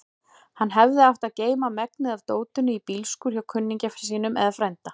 Hann hefði átt að geyma megnið af dótinu í bílskúr hjá kunningja sínum eða frænda.